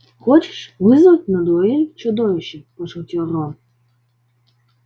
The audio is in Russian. хочешь вызвать на дуэль чудовище пошутил рон